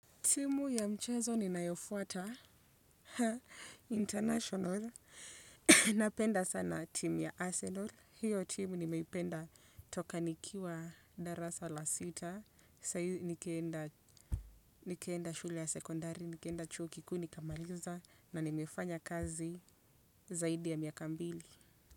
Simu ya mchezo ninayofuata international. Napenda sana timu ya Arsenal. Hiyo timu nimeipenda toka nikiwa darasa la sita. Nikienda shule ya sekondari, nikienda chuo kikuu, nikimaliza. Na nimefanya kazi zaidi ya miaka mbili.